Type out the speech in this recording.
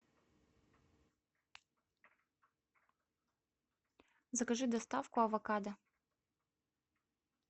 закажи доставку авокадо